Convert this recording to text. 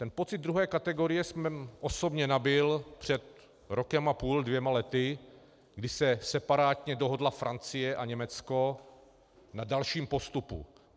Ten pocit druhé kategorie jsem osobně nabyl před rokem a půl, dvěma lety, kdy se separátně dohodla Francie a Německo na dalším postupu.